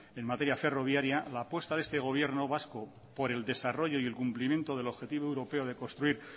en materia ferroviaria la apuesta de este gobierno vasco por el desarrollo y el cumplimiento del objetivo europeo de construir